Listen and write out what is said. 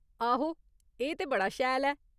आहो ! एह् ते बड़ा शैल ऐ ।